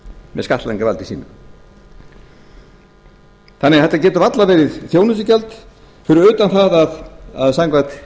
með skattlagningarvaldi sínu þannig að þetta getur varla verið þjónustugjald fyrir utan það að samkvæmt